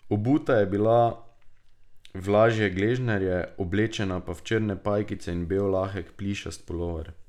Obuta je bila v lažje gležnarje, oblečena pa v črne pajkice in bel lahek plišast pulover.